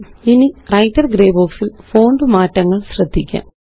ഇനിWriter grey box ല് font മാറ്റങ്ങള് ശ്രദ്ധിക്കാം